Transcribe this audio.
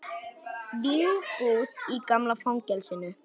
Vínbúð í gamla fangelsinu